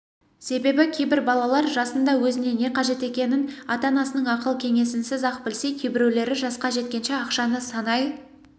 себебі кейбір балалар жасында өзіне не қажет екенін ата-анасының ақыл-кеңесінсіз-ақ білсе кейбіреулері жасқа жеткенше ақшаны санай